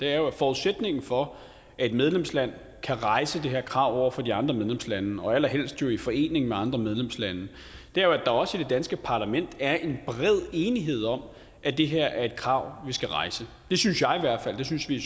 er jo at forudsætningen for at et medlemsland kan rejse det her krav over for de andre medlemslande og allerhelst i forening med andre medlemslande er at der også i det danske parlament er en bred enighed om at det her er et krav vi skal rejse det synes jeg i hvert fald det synes vi i